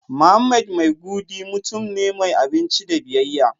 Mohammed maigiudi mutum ne mai aminci da biyayya